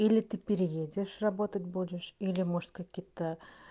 или ты переедешь работать будешь или может какие-то